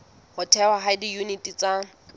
ho thehwa ha diyuniti tsa